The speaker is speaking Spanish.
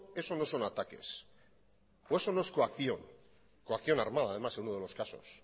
eso no son ataques o eso no es coacción coacción armada además en uno de los casos